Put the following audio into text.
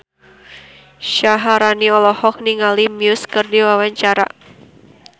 Syaharani olohok ningali Muse keur diwawancara